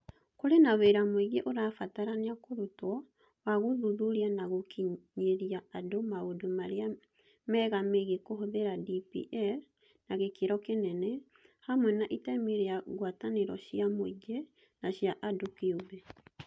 Kũrĩ na wĩra mũingĩ ũrabatarania kũrutwo wa gũthuthuria na gũkinyĩria andũ maũndũ marĩa mega megiĩ kũhũthĩra DPL na gĩkĩro kĩnene, hamwe na itemi rĩa ngwatanĩro cia mũingĩ na cia andũ kĩũmbe.